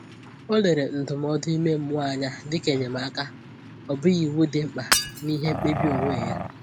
O lere ndụmọdụ ime mmụọ anya dịka enyemaka, ọ bụghị iwu dị mkpa n’ihe mkpebi onwe ya.